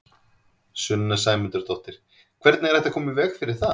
Sunna Sæmundsdóttir: Hvernig er hægt að koma í veg fyrir það?